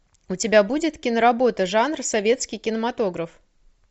у тебя будет киноработа жанр советский кинематограф